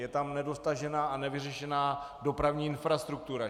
Je tam nedotažená a nevyřešená dopravní infrastruktura.